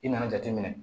I nana jateminɛ